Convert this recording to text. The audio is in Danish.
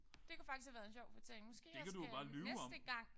Det kunne faktisk have været en sjov fortælling. Måske jeg skal næste gang